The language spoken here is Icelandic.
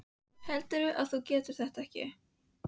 Heldurðu að þú getir þetta ekki?